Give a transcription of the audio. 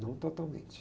Não totalmente.